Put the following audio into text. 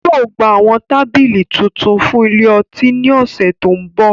yóò gba awọn tabili tuntun fun ile-ọti ni náà ọsẹ to nbọ.